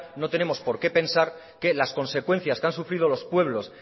no tenemos porqué pensar que las consecuencias que han sufrido los pueblos